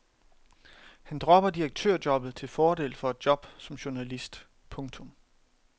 Han dropper direktørjobbet til fordel for et job som journalist. punktum